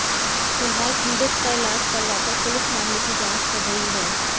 फिलहाल पीड़ित का इलाज करवाकर पुलिस मामले की जांच कर रही है